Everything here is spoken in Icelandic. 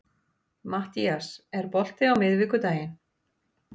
Mattías, er bolti á miðvikudaginn?